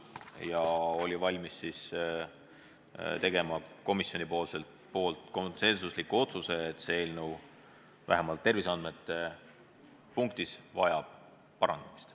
Ja komisjon oli valmis tegema konsensusliku otsuse, et see eelnõu vajab vähemalt terviseandmeid puudutavas osas parandamist.